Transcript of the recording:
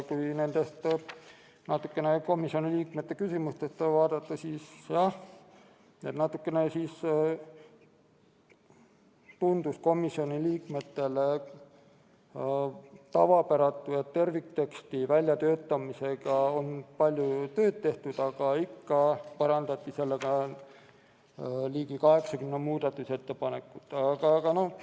Kui komisjoni liikmete küsimusi vaadata, siis tundus komisjoni liikmetele tavapäratu, et kuigi tervikteksti väljatöötamisega on palju tööd tehtud, hakatakse teksti parandama ligi 80 muudatusettepanekuga.